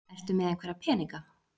Ertu með einhverja peninga?